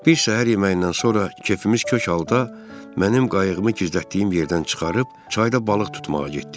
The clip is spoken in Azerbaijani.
Bir şam yeməyindən sonra kefimiz kök halda mənim qayığımı gizlətdiyim yerdən çıxarıb çayda balıq tutmağa getdik.